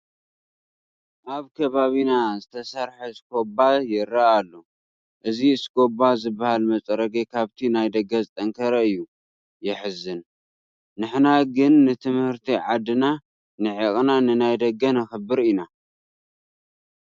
ኣብ ከባቢና ዝተሰርሐ እስኮባ ይርአ ኣሎ፡፡ እዚ እስኮባ ዝበሃል መፅረጊ ካብቲ ናይ ደገ ዝጠንከረ እዩ፡፡ የሕዝን፡፡ ንሕና ግን ንምህርቲ ዓድና ንዒቕና ንናይ ደገ ነኽብር ኢና፡፡